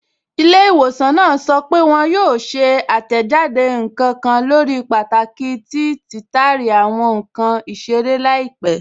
Ilẹ́̀-ìwọ̀sàn náà sọ́ pé wọn yóò ṣè àtẹ́jádé nkan kàn lórí pàtàkì tí títàrí àwọn nkan isèrè laípẹ̀.